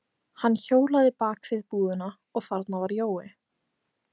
Hann hjólaði bak við búðina og þarna var Jói.